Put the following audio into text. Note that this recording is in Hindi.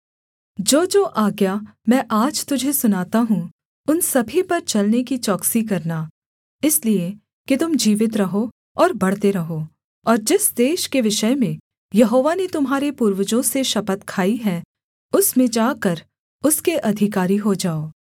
जोजो आज्ञा मैं आज तुझे सुनाता हूँ उन सभी पर चलने की चौकसी करना इसलिए कि तुम जीवित रहो और बढ़ते रहो और जिस देश के विषय में यहोवा ने तुम्हारे पूर्वजों से शपथ खाई है उसमें जाकर उसके अधिकारी हो जाओ